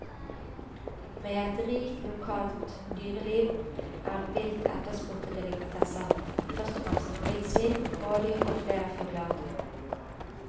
Med et rikt lokalt dyreliv er vilt etterspurte delikatesser, først og fremst villsvin, rådyr og flere fuglearter.